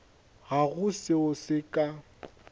ga go seo se ka